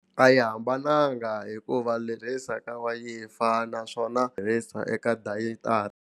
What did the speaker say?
A yi hambananga hikuva tirhisa ka wayifa naswona tirhisa eka dayitara.